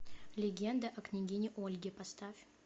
легенда о княгине ольге поставь